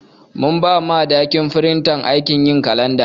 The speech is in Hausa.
Mun ɓa Madaki firinta aikin yin kalanɗa.